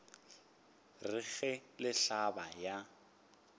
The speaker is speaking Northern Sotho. re ge le hlaba ya